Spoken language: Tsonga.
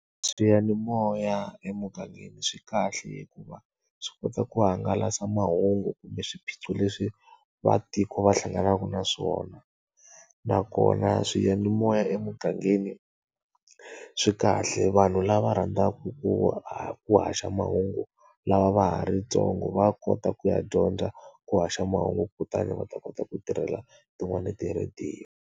Swiyanimoya emugangeni swi kahle hikuva swi kota ku hangalasa mahungu kumbe swiphiqo leswi vaakatiko va hlanganaka na swona. Nakona swiyanimoya emugangeni, swi kahle vanhu lava rhandzaka ku ku haxa mahungu lava va ha ri ntsongo va kota ku ya dyondza ku haxa mahungu kutani va ta kota ku tirhela tin'wani ti-radio.